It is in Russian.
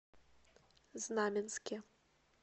знаменске